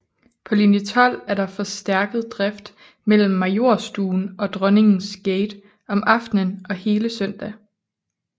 På linje 12 er der forstærket drift mellem Majorstuen og Dronningens gate om aftenen og hele søndag